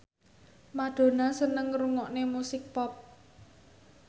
Madonna seneng ngrungokne musik pop